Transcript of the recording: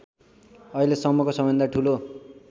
अहिलेसम्मको सबैभन्दा ठूलो